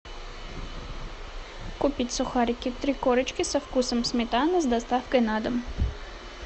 купить сухарики три корочки со вкусом сметаны с доставкой на дом